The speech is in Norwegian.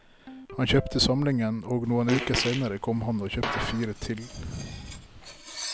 Han kjøpte samlingen, og noen uker senere kom han og kjøpte fire til.